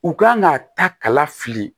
U kan ka taa kala fili